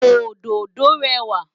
Òdòdó rẹwà.